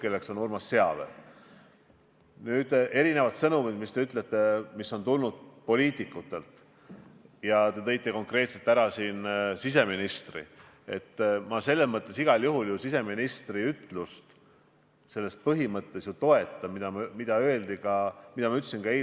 Kui olukord tõepoolest eskaleerub sinnamaani, et me peame veel drakoonilisemate meetmete peale välja minema ja täna antud soovitused saab muuta kohustuslikuks, siis kas ka eraettevõtluses hakatakse kohustuslikus korras, mitte soovituslikus korras piiranguid peale panema?